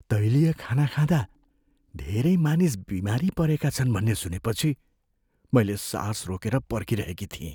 तैलीय खाना खाँदा धेरै मानिस बिमारी परेका छन् भन्ने सुनेपछि मैले सास रोकेर पर्खिरहेकी थिएँ।